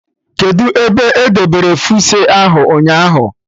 Kedụ ebe edebere fuse ahụ ụnyaahụ?